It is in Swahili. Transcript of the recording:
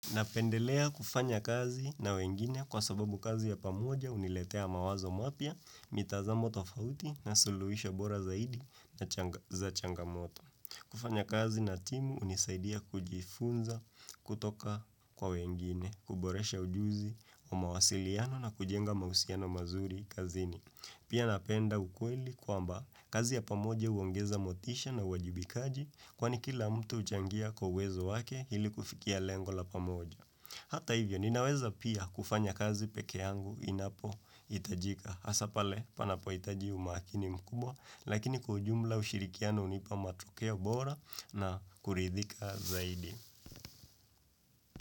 Napendelea kufanya kazi na wengine kwa sababu kazi ya pamoja huniletea mawazo mapya, mitazamo tofauti na suluhisho bora zaidi za changamoto. Kufanya kazi na timu hunisaidia kujifunza kutoka kwa wengine, kuboresha ujuzi wa mawasiliano na kujenga mahusiano mazuri kazini. Pia napenda ukweli kwamba kazi ya pamoja huongeza motisha na uwajibikaji kwani kila mtu huchangia kwa uwezo wake ili kufikia lengo la pamoja. Hata hivyo ninaweza pia kufanya kazi peke yangu inapohitajika. Hasa pale panapohitaji umakini mkubwa lakini kww ujumla ushirikiano hunipa matokeo bora, na kuridhika zaidi.